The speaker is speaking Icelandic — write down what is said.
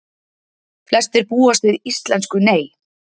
Flestir búast við íslensku Nei